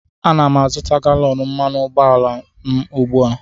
Ana m azụta galọn mmanụ ụgbọala m ugbu a